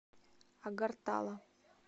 агартала